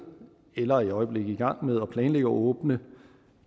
eller er i øjeblikket i gang med at planlægge at åbne